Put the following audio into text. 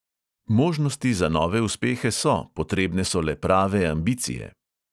Možnosti za nove uspehe so, potrebne so le prave ambicije.